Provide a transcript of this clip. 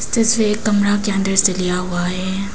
तस्वीर एक कमरा के अंदर से लिया हुआ है।